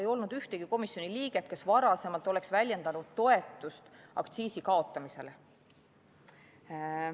Ei olnud ühtegi komisjoni liiget, kes varem oleks väljendanud toetust aktsiisi kaotamisele.